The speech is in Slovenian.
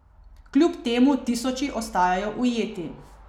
Kljub temu tisoči ostajajo ujeti.